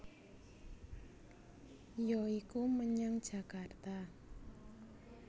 Ya iku menyang Jakarta